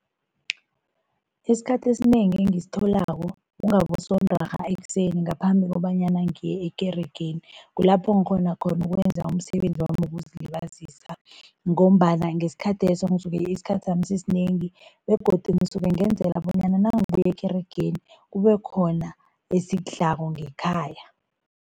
Isikhathi esinengi engisitholako kungaboSondarha ekuseni ngaphambi kobanyana ngiye ekeregeni, kulapho ngikghona khona ukwenza umsebenzi wami wokuzilibazisa ngombana ngesikhatheso ngisuke isikhathi sami sisinengi begodu ngisuke ngenzela bonyana nangibuya ekeregeni, kubekhona esikudlako ngekhaya.